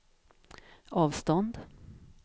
avstånd